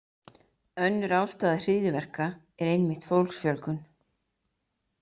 Önnur ástæða hryðjuverka er einmitt fólksfjölgun.